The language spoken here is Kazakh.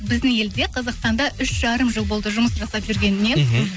біздің елде қазақстанда үш жарым жыл болды жұмыс жасап жүргеніне мхм